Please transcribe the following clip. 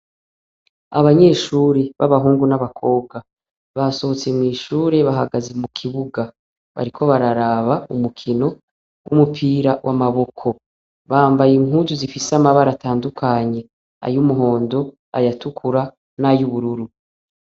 Abanyeshuri babahungu nabakobwa basohotse mwishure bahagaze mukibuga bariko baraba urukino ryumupira w'amaboko bambaye impuzu zifise amabara atandukanye ayumuhondo, ayatukura nayubururu.